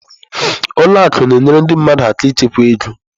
Ụlọ akụ na-enyere ndị mmadụ aka ịchekwa ego.